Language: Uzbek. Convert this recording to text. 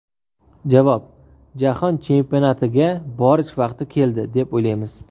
Javob: Jahon chempionatiga borish vaqti keldi, deb o‘ylaymiz.